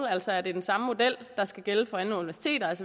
altså er det den samme model der skal gælde for alle universiteter